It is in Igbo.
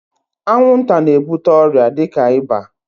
Anwụnta na-ebute ọrịa dịka ịba.